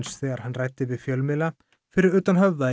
þegar hann ræddi við fjölmiðla fyrir utan Höfða í